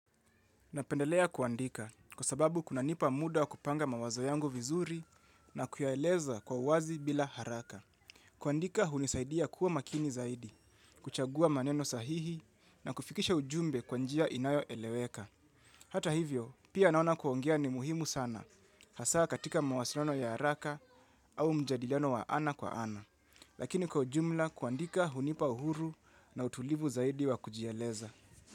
Napendelea kuandika kwa sababu kunanipa muda wa kupanga mawazo yangu vizuri na kuyaeleza kwa wazi bila haraka. Kuandika hunisaidia kuwa makini zaidi, kuchagua maneno sahihi na kufikisha ujumbe kwa njia inayoeleweka. Hata hivyo, pia naona kuongea ni muhimu sana, hasa katika mawasiliano ya haraka au mjadiliano wa ana kwa ana. Lakini kwa ujumla kuandika hunipa uhuru na utulivu zaidi wa kujieleza.